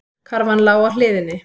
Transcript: Karfan lá á hliðinni.